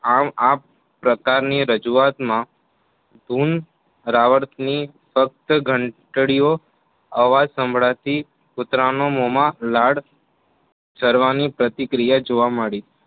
આમ આ પ્રકારની રજૂઆત માં ધૂન રાવર્તની ફક્ત ઘંટડીયો અવાજ સંભળાતી કુતરાના મોમાં લાળ સર્વની પ્રતિક્રિયા જોવા મળી